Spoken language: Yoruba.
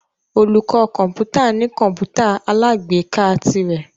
Olùkọ́ kọ̀ǹpútà ní kọ̀ǹpútà alágbèéká tirẹ̀.